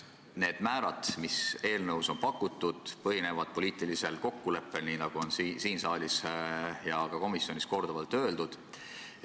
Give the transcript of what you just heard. Need määrad, mis eelnõus on pakutud, põhinevad poliitilisel kokkuleppel, nii nagu siin saalis ja ka komisjonis on korduvalt öeldud.